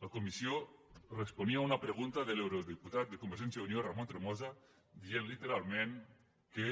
la comissió responia a una pregunta de l’eurodiputat de convergència i unió ramon tremosa dient literalment que